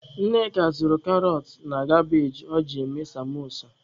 Nneka zụrụ karọt na kabage o ji eme samosa.